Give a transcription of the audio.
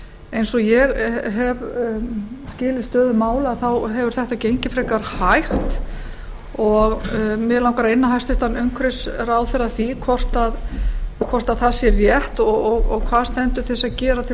eins og ég hef skilið stöðu mála hefur þetta gengið frekar hægt og mig langar að inna hæstvirtur umhverfisráðherra að því hvort það sé rétt og hvað standi til að gera til